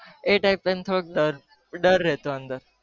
ઈ time થોડો ડર રહેતો અંદર